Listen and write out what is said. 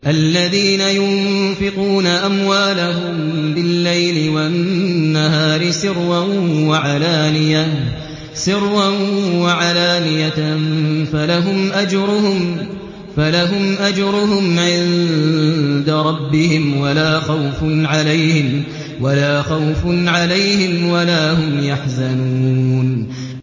الَّذِينَ يُنفِقُونَ أَمْوَالَهُم بِاللَّيْلِ وَالنَّهَارِ سِرًّا وَعَلَانِيَةً فَلَهُمْ أَجْرُهُمْ عِندَ رَبِّهِمْ وَلَا خَوْفٌ عَلَيْهِمْ وَلَا هُمْ يَحْزَنُونَ